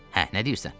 Hə, nə deyirsən?